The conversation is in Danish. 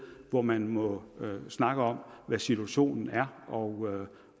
hvor man må snakke om hvad situationen er og